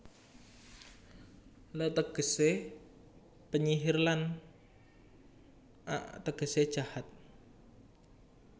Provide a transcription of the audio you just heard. Le tegesé penyihir lan ak tegesé jahat